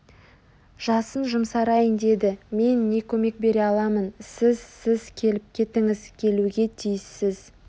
жасын жұмсарайын деді мен не көмек бере аламын сіз сіз келіп кетіңіз келуге тиіссіз